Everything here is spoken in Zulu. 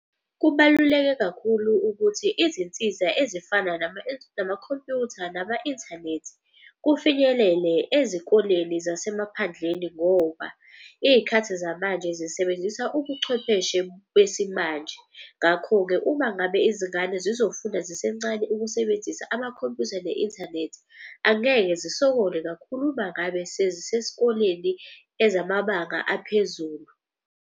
Kubaluleke kakhulu ukuthi izinsiza ezifana namakhompyutha nama inthanethi kufinyelele ezikoleni zasemaphandleni. Ngoba iy'khathi zamanje zisebenzisa ubuchwepheshe besimanje. Ngakho-ke uma ngabe izingane zizofunda zisencane ukusebenzisa amakhompuyutha ne-inthanethi. Angeke zisokole kakhulu uma ngabe sezisesikoleni ezamabanga aphezulu.